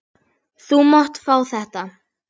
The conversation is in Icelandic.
Ég fæ ekki hamið mig.